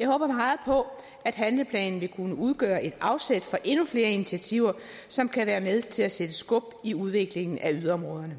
jeg håber meget på at handleplanen vil kunne udgøre et afsæt for endnu flere initiativer som kan være med til at sætte skub i udviklingen af yderområderne